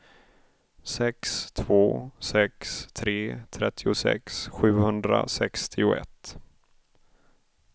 sex två sex tre trettiosex sjuhundrasextioett